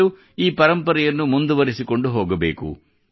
ಮತ್ತು ಈ ಪರಂಪರೆಯನ್ನು ಮುಂದುವರಿಸಿಕೊಂಡು ಹೋಗಬೇಕು